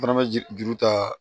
Fana bɛ je juru ta